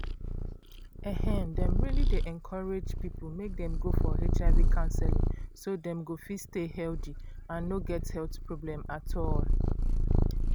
um dem um dey encourage people make dem go for um counseling so dem go fit stay healthy and no get health problem at all.